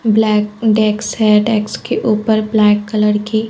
Black डेक्स है। डेक्स के ऊपर ब्लैक कलर की--